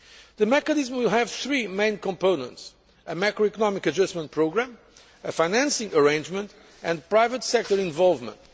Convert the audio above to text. The mechanism will have three main components a macro economic adjustment programme, a financing arrangement, and private sector involvement.